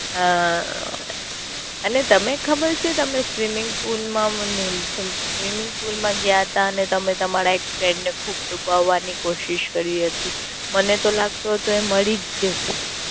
હ અ એને તમે ખબર છે તમે Swimming pool માં મને Swimming pool માં ગયા તા અને તમે તમારા Friend ને ખુબ ડુબાવાની કોશિશ કરી હતી. મને તો લાગતું હતું એ મરી જ જશે.